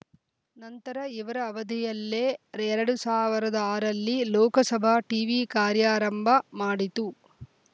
ನಂತರ ಇವರ ಅವಧಿಯಲ್ಲೇ ಎರಡ್ ಸಾವರದ ಆರ ರಲ್ಲಿ ಲೋಕಸಭಾ ಟೀವಿ ಕಾರ್ಯಾರಂಭ ಮಾಡಿತು